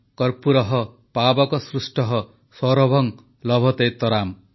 କର୍ପୂରଃ ପାବକ ସ୍ପୃଷ୍ଟଃ ସୌରଭଂ ଲଭତେତରାମ